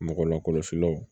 Mɔgɔ lakɔlɔsilaw